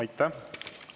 Aitäh!